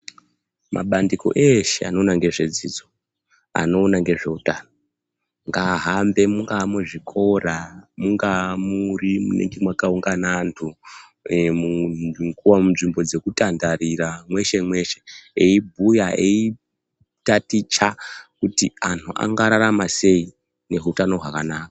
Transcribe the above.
Mabandiko eshe anoona ngezvedzidzo anoona ngezveutano, ngaahambe muzvikora, mungaamuri munonga mwakaungana anhu, munzvimbo dzekutandarira mweshe-mweshe eibhuya ,eitaticha kuti anhu angararama sei neutano hwakanaka.